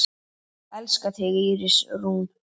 Elska þig, Íris Rún.